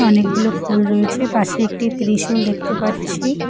অনেকগুলো ফুল রয়েছে পাশে একটি ত্রিশূল দেখতে পাচ্ছি।